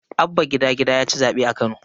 Abba gida-gida yaci zaɓe a Kano.